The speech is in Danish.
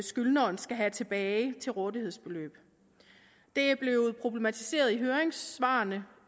skyldneren skal have tilbage til rådighedsbeløb det er blevet problematiseret i høringssvarene